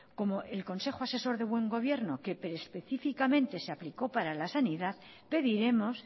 como el consejo asesor del buen gobierno que específicamente se aplicó para la sanidad pediremos